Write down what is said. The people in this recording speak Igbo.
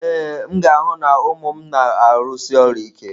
Ee, m ga-ahụ na ụmụ m na-arụsi ọrụ ike.